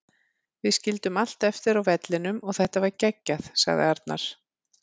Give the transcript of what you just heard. Við skildum allt eftir á vellinum og þetta var geggjað, sagði Arnar.